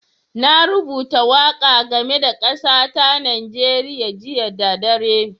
Na rubuta waƙa game da kasa ta Nijeriya jiya da dare.